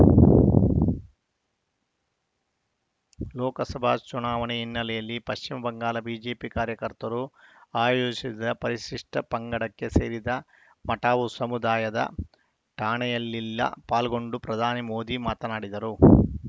ಲೋಕಸಭಾ ಚುನಾವಣೆ ಹಿನ್ನೆಲೆಯಲ್ಲಿ ಪಶ್ಚಿಮಬಂಗಾಳ ಬಿಜೆಪಿ ಕಾರ್ಯಕರ್ತರು ಆಯೋಜಿಸಿದ್ದ ಪರಿಶಿಷ್ಟಪಂಗಡಕ್ಕೆ ಸೇರಿದ ಮಟುವಾ ಸಮುದಾಯದ ಠಾಣೆಯಲ್ಲಿಲ್ಲ ಪಾಲ್ಗೊಂಡು ಪ್ರಧಾನಿ ಮೋದಿ ಮಾತನಾಡಿದರು